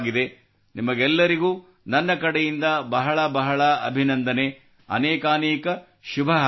ನಿಮಗೆಲ್ಲರಿಗೂ ನನ್ನ ಕಡೆಯಿಂದ ಬಹಳ ಬಹಳ ಅಭಿನಂದನೆ ಅನೇಕಾನೇಕ ಶುಭ ಹಾರೈಕೆಗಳು